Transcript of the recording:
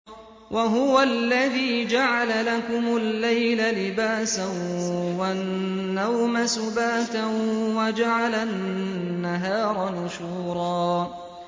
وَهُوَ الَّذِي جَعَلَ لَكُمُ اللَّيْلَ لِبَاسًا وَالنَّوْمَ سُبَاتًا وَجَعَلَ النَّهَارَ نُشُورًا